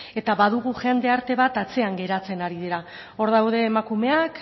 eta badugu jendarte bat atzean geratzen ari direla hor daude emakumeak